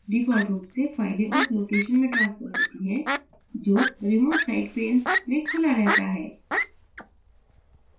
default रूप से files उस location में transfer होती हैं जो remote site pane में खुला रहता है